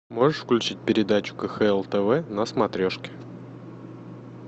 можешь включить передачу кхл тв на смотрешке